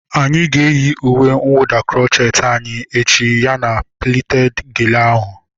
Anyị ga-eyi uwe nwụda krocheeti anyị echi ya na plited gele ahu